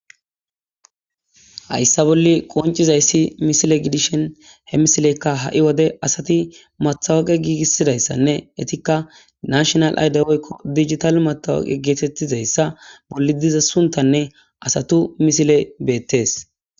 hayssa bolli qoncizayssi misile gidishen he misileykka ha7i wode asati mathawaqe giigissidayssanne etikka nashinal ayde woykko digital matawaqe geetettizayssa bolli diza suntanne asatu misile beettees